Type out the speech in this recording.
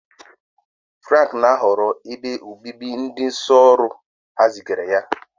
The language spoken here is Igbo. Frank na-ahọrọ ebe obibi ndị ìsì ọhụrụ ha zigara ya.